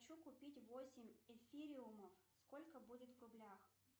хочу купить восемь эфириумов сколько будет в рублях